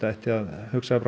ætti að hugsa